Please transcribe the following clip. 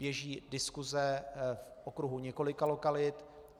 Běží diskuse v okruhu několika lokalit.